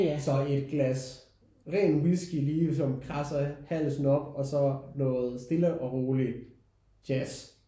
Så et glas ren whisky lige som kradser halsen op og så noget stille og rolig jazz